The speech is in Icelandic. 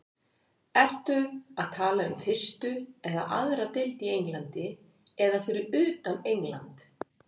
Ertu að tala um fyrstu eða aðra deild í Englandi eða fyrir utan England?